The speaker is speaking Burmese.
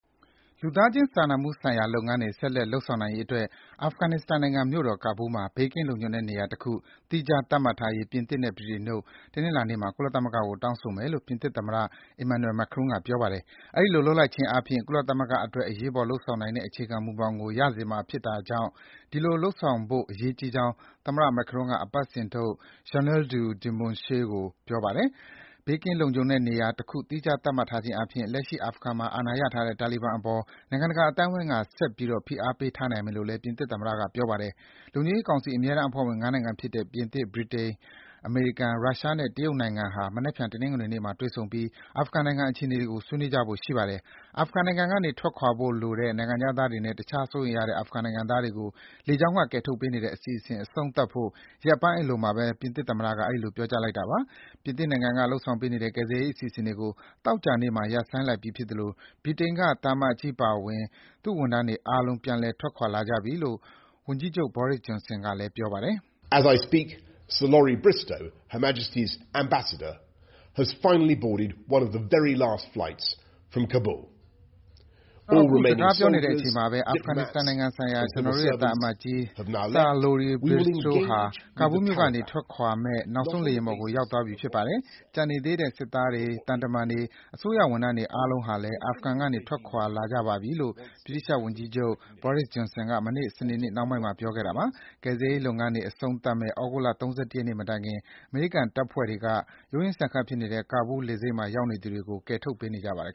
လူသားခြင်းစာနာမှုဆိုင်ရာ လုပ်ငန်းတွေ ဆက်လက် လုပ်ဆောင်နိုင်ရေးအတွက် အာဖဂန်နစ္စတန်နိုင်ငံမြို့တော် ကာဘူးလ်မှာ ဘေးကင်းလုံခြုံတဲ့နေရာတခု သီးခြားသတ်မှတ်ထားရေး ပြင်သစ်နဲ့ ဗြိတိန်တို့က တနင်္လာနေ့မှာ ကုလသမဂ္ဂကို တောင်းဆိုမယ်လို့ ပြင်သစ်သမ္မတ Emmanuel Macron က ပြောပါတယ်။ အဲဒီလို လုပ်လိုက်ခြင်းအားဖြင့် ကုလသမဂ္ဂအတွက် အရေးပေါ်လုပ်ဆောင်နိုင်တဲ့ အခြေခံမူဘောင်ကို ရစေမှာဖြစ်တာကြောင့် အဲဒီလို လုပ်ဆောင်ဖို့ အရေးကြီးကြောင်း သမ္မတ Macron က အပတ်စဉ်ထုတ် Journal du Dimanche ကို ပြောပါတယ်။ ဘေးကင်းလုံခြုံတဲ့နေရာတခု သီးခြားသတ်မှတ်ထားခြင်းအားဖြင့် လက်ရှိ အာဖဂန်မှာ အာဏာရထားတဲ့ တာလီဘန်တွေအပေါ် နိုင်ငံတကာ အသိုင်းဝိုင်းက ဆက်ပြီး ဖိအားပေးထားနိုင်မယ်လို့လည်း ပြင်သစ်သမ္မတက ပြောပါတယ်။ လုံခြုံရေးကောင်စီ အမြဲတမ်းအဖွဲ့ဝင် ၅ နိုင်ငံဖြစ်တဲ့ ပြင်သစ်၊ ဗြိတိန်၊ အမေရိကန်၊ ရုရှားနဲ့ တရုတ်နိုင်ငံဟာ မနက်ဖြန် တနင်္လာနေ့မှာ တွေ့ဆုံပြီး အာဖဂန်နိုင်ငံအခြေအနေတွေကို ဆွေးနွေးကြဖို့ရှိပါတယ်။ အာဖဂန်နိုင်ငံကနေ ထွက်ခွာလိုတဲ့ နိုင်ငံခြားသားတွေနဲ့ တခြား စိုးရိမ်ရတဲ့ အာဖဂန်နိုင်ငံသားတွေကို လေကြောင်းက ကယ်ထုတ်ပေးနေတဲ့ အစီအစဉ် အဆုံးသတ်ဖို့ ရက်ပိုင်းအလိုမှာဘဲ ပြင်သစ်သမ္မတက အဲဒီလို ပြောကြားလိုက်တာပါ။ ပြင်သစ်နိုင်ငံက လုပ်ဆောင်ပေးနေတဲ့ ကယ်ဆယ်ရေးအစီအစဉ်တွေကို သောကြာနေ့က ရပ်ဆိုင်းလိုက်ပြီဖြစ်သလို ဗြိတိန်က သံအမတ်ကြီးအပါအဝင် သူ့ဝန်ထမ်းတွေအားလုံး ပြန်ထွက်ခွာလာကြပြီလို့ ဝန်ကြီးချုပ် Boris Johnson က ပြောပါတယ်။ “ကျနော် အခုစကားပြောနေတဲ့အချိန်မှာဘဲ အာဖဂန်နစ္စတန်နိုင်ငံဆိုင်ရာ ကျနော်တို့ရဲ့သံအမတ်ကြီး Sir Lorie Bristow ဟာ ကာဘူးလ်မြို့ကထွက်ခွာမယ့် နောက်ဆုံးလေယာဉ်ပေါ်ကို ရောက်သွားပြီ ဖြစ်ပါတယ်။ ကျန်နေသေးတဲ့ စစ်သားတွေ၊ သံတမန်တွေ၊ အစိုးရဝန်ထမ်းတွေအားလုံးဟာလည်း အာဖဂန်ကနေ အကုန်ထွက်ခွာလာကြပါပြီ” - လို့ ဗြိတိသျှဝန်ကြီးချုပ် Boris Johnson က မနေ့ စနေနေ့နှောင်းပိုင်းမှာ ပြောခဲ့တာပါ။ ကယ်ဆယ်ရေးလုပ်ငန်းတွေ အဆုံးသတ်မယ့် သြဂုတ်လ ၃၁ ရက်နေ့မတိုင် အမေရိကန်တပ်ဖွဲ့တွေက ရုံးရင်းဆန်ခတ်ဖြစ်နေတဲ့ ကာဘူးလ် လေဆိပ်မှာရောက်နေသူတွေကို ကယ်ထုတ်ပေးနေပါတယ်